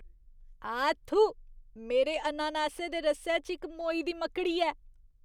आ थू! मेरे अनानासै दे रसै च इक मोई दी मकड़ी ऐ।